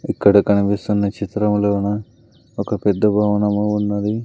ఇక్కడ కనిపిస్తున్న చిత్రములోన ఒక పెద్ద భవనము ఉన్నది.